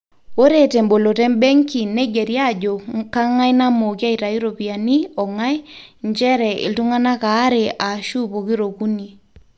ore temboloto embenki neigerri aajo kang'ai namooki aitayu iropiyiani ong'ai njere iltung'anak aare aashu pokira okuni